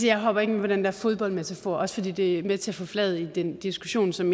jeg hopper ikke på den der fodboldmetafor også fordi det er med til at forfladige den diskussion som